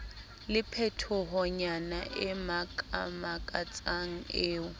le phetohonyana e makamakatsang eo